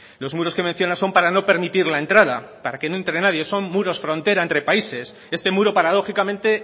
los muros que menciona son para no permitir la entrada para que no entre nadie son muros frontera entre países este muro paradójicamente